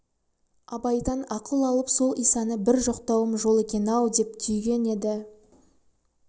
абайдан ақыл алып сол исаны бір жоқтауым жол екен-ау деп түйген еді